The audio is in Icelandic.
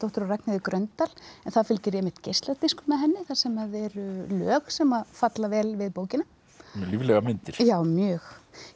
og Ragnheiði Gröndal en það fylgir einmitt geisladiskur með henni þar sem eru lög sem að falla vel við bókina líflegar myndir já mjög